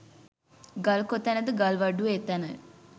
ගල් කොතැනද ගල්වඩුවෝ එතැනය